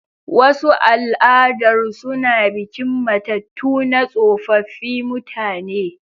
Wasu al'adar suna bikin matattu na tsofaffi mutane.